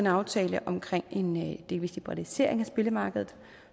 aftale om en delvis liberalisering af spillemarkedet